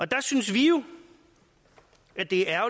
der synes vi jo at det er